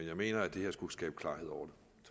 jeg mener at det her skulle skabe klarhed over